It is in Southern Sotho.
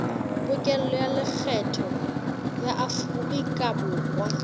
pokello ya lekgetho ya aforikaborwa